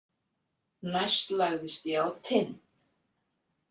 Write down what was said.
Næst lagðist ég á Tind.